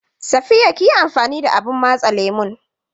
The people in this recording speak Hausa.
Safiya kiyi amfani da abun matse lemon?